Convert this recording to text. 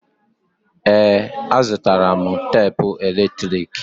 Ee, azụtara m tapụ eletrik.